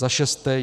Za šesté.